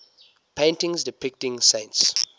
paintings depicting saints